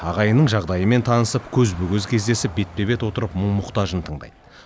ағайынның жағдайымен танысып көзбе көз кездесіп бетпе бет отырып мұң мұқтажын тыңдайды